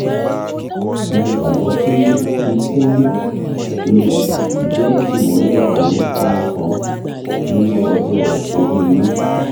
mo gbagbọ pe fifteen lbs jẹ imọlẹ fun ọmọ kan ni ọjọ ori yii